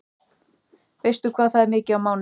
Veistu hvað það er mikið á mánuði?